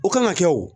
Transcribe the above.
O kan ka kɛ wo